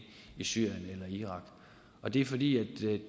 syrien eller i irak og det er fordi